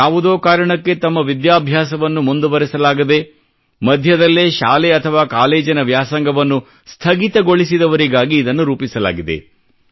ಯಾವುದೋ ಕಾರಣಕ್ಕೆ ತಮ್ಮ ವಿದ್ಯಾಭ್ಯಾಸವನ್ನು ಮುಂದುವರೆಸಲಾಗದೇ ಮಧ್ಯದಲ್ಲೇ ಶಾಲೆ ಅಥವಾ ಕಾಲೇಜಿನ ವ್ಯಾಸಂಗವನ್ನು ಸ್ಥಗಿತಗೊಳಿಸಿದವರಿಗಾಗಿ ಇದನ್ನು ರೂಪಿಸಲಾಗಿದೆ